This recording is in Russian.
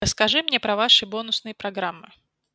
расскажи мне про ваши бонусные программы